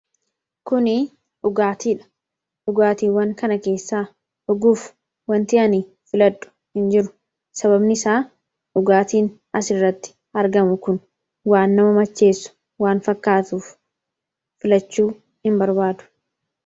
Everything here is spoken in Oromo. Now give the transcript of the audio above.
Kun dhugaatiidha dhugaatiiwwan kana keessaa vdhuguuf wanti ani filadhu hin jiru. Sababni isaas dhugaatiin asirratti argamu kun waan nama macheessu waan fakkaatuuf filachuu hin barbaadu.